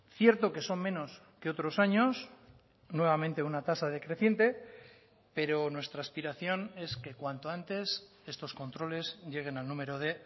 cierto que son menos que otros años nuevamente una tasa decreciente pero nuestra aspiración es que cuanto antes estos controles lleguen al número de